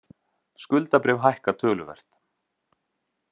Skuldabréf hækka töluvert